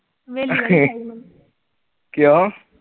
ਕਿਉਂ?